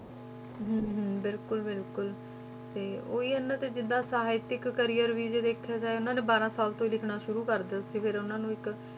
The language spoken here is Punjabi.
ਹਮ ਹਮ ਬਿਲਕੁਲ ਬਿਲਕੁਲ ਤੇ ਉਹੀ ਇਹਨਾਂ ਦੇ ਜਿੱਦਾਂ ਸਾਹਿਤਿਕ career ਵੀ ਜੇ ਦੇਖਿਆ ਜਾਏ ਉਹਨਾਂ ਨੇ ਬਾਰਾਂ ਸਾਲ ਤੋਂ ਹੀ ਲਿਖਣਾ ਸ਼ੁਰੂ ਕਰ ਦਿੱਤਾ ਸੀ ਫਿਰ ਉਹਨਾਂ ਨੂੰ ਇੱਕ